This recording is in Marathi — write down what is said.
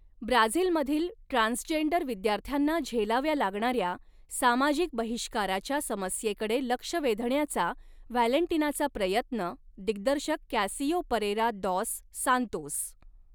ब्राझिलमधील ट्रान्स्जेंडर विद्यार्थ्यांना झेलाव्या लागणाऱ्या सामाजिक बहिष्काराच्या समस्येकडे लक्ष वेधण्याचा व्हॅलेंटिनाचा प्रयत्नः दिग्दर्शक कॅसियो परेरा दॉस सांतोस